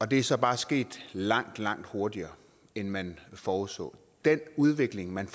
det er så bare sket langt langt hurtigere end man forudså den udvikling man